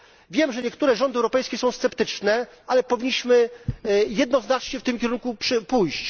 Wiemy, że niektóre rządy europejskie są sceptyczne, ale powinniśmy jednoznacznie w tym kierunku pójść.